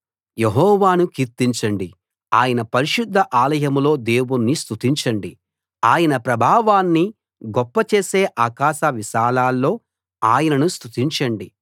యెహోవాను కీర్తించండి ఆయన పరిశుద్ధ ఆలయంలో దేవుణ్ణి స్తుతించండి ఆయన ప్రభావాన్ని గొప్పచేసే ఆకాశవిశాలాల్లో ఆయనను స్తుతించండి